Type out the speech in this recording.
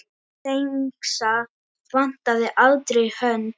Dengsa vantaði aldrei hönd.